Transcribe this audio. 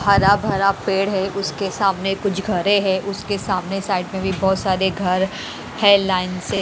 हरा भरा पेड़ है एक उसके सामने कुछ घरें है उसके सामने साइड में भी बहोत सारे घर है लाइन से।